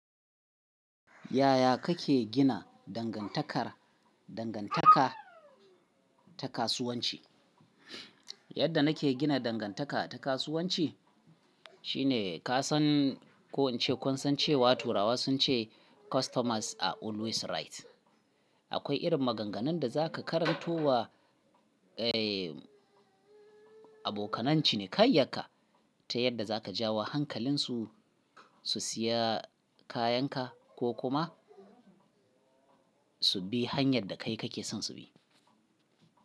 Yaya kake gina dangantaka ta kasuwanci? Yadda nake gina dangantaka ta kasuwanci shine ka san ko in ce kun san cewa turawa sun ce “Customers are always right.” Akwai irin maganganun da za ka karanto wa, eh, abokanan ciniikayyanka ta yadda za ka jawo hankalinsu su siya kayanka ko kuma su bi hanyar da kai kake son su bi.